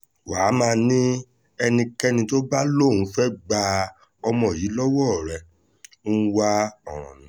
wà á máa ní ẹnikẹ́ni tó bá lóun fẹ́ẹ́ gba ọmọ yìí lọ́wọ́ rẹ̀ ń wá ọ̀ràn ni